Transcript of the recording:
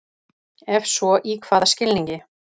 Ef svo í hvaða skilningi?